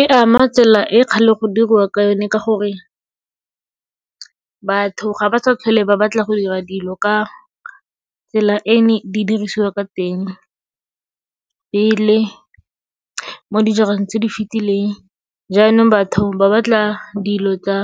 E ama tsela e e kgale go dirwa ka yone ka gore batho ga ba sa tlhole ba batla go dira dilo ka tsela e neng di dirisiwa ka teng pele mo dijareng tse di fitileng. Jaanong batho ba batla dilo tsa